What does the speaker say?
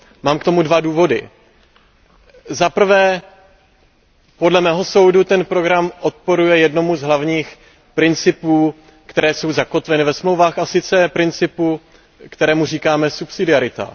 Mám k tomu dva důvody za prvé, podle mého soudu ten program odporuje jednomu z hlavních principů, které jsou zakotveny ve Smlouvách a sice principu, kterému říkáme subsidiarita.